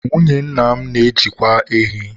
Nwunye nna m na-ajịkwa ehi